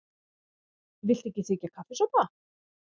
Viltu ekki þiggja kaffisopa?